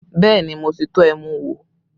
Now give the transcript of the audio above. Bẹẹ ni, mo ti tọ́ ẹmu wò